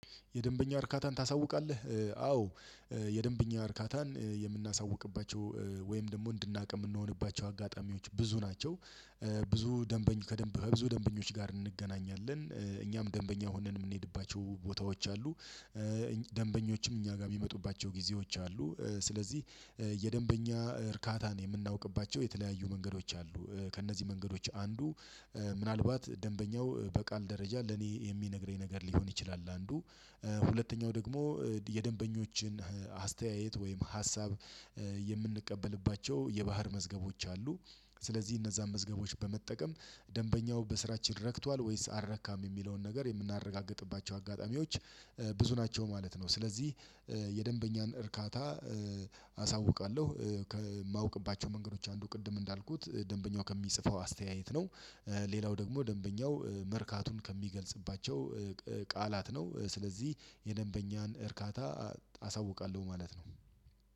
የደንበኛ እርካታን ታሳውቃለህ? አዎ። የደንበኛ እርካታን የምናሳውቅባቸው ወይም ደግሞ እንድናውቅ የምንሆንባቸው አጋጣሚዎች ብዙ ናቸው። ብዙ ደንበኛ ከደንብ ከብዙ ደንበኞች ጋር እንገናኛለን እኛም ደንበኛ ሆነን የምንሄድባቸው ቦታዎች አሉ። ደንበኞችም እኛ ጋር የመጡባቸው ጊዜዎች አሉ። ስለዚህ የደንበኛ እርካታን የምናውቅባቸው የተለያዩ መንገዶች አሉ። ከእነዚህ መንገዶች አንዱ ምናልባት ደንበኛው በቃል ደረጃ ለኔ የሚነግረኝ ነገር ሊሆን ይችላል አንዱ ሁለተኛው ደግሞ የደንበኞችን አስተያየት ወይም ሀሳብ የምንቀበልባቸው የባህር መዝገቦች አሉ። ስለዚህ እነዛን መዝገቦች በመጠቀም ደንበኛው በስራችን ረክቷል ወይስ አረካም የሚለውን ነገር የምናረጋግጥባቸው አጋጣሚዎች ብዙ ናቸው ማለት ነው። ስለዚህ የደንበኛን እርካታ አሳውቃለሁ ከማውቅባቸው መንገዶች አንዱ ቅድም እንዳልኩት ደንበኛው ከሚጽፈው አስተያየት ነው። ሌላው ደግሞ ደንበኛው መርካቱን ከሚገልጽባቸው ቃላት ነው። ስለዚህ የደንበኛን እርካታ አሳውቃለሁ ማለት ነው።